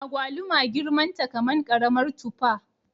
Agwaluma girman ta kaman karamar tufa